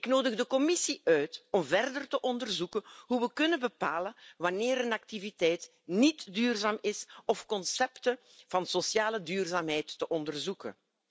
Ik nodig de Commissie uit om verder te onderzoeken hoe we kunnen bepalen wanneer een activiteit niet duurzaam is of concepten van sociale duurzaamheid te onderzoeken.